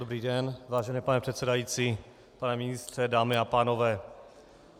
Dobrý den, vážený pane předsedající, pane ministře, dámy a pánové.